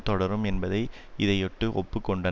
தொடரும் என்பதை இதையொட்டு ஒப்பு கொண்டார்